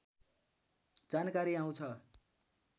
जानकारी आउँछ